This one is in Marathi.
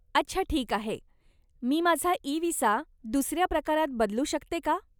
अच्छा, ठीक आहे. मी माझा इ विसा दुसऱ्या प्रकारात बदलू शकते का?